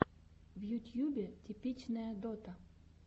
в ютьюбе типичная дота